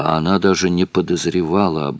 а она даже не подозревала о